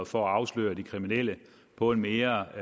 for at afsløre de kriminelle på en mere